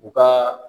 U ka